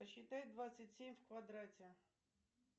посчитай двадцать семь в квадрате